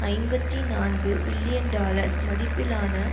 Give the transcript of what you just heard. ஐம்பத்தி நான்கு billion dollar மதிப்பிலான